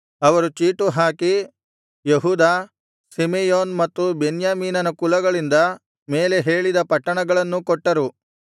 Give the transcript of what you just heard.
ಅವರು ಚೀಟು ಹಾಕಿ ಯೆಹೂದ ಸಿಮೆಯೋನ್ ಮತ್ತು ಬೆನ್ಯಾಮೀನನ ಕುಲಗಳಿಂದ ಮೇಲೆ ಹೇಳಿದ ಪಟ್ಟಣಗಳನ್ನೂ ಕೊಟ್ಟರು